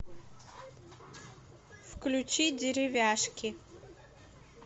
включи деревяшки